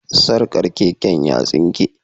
Sarkar keken ya tsinke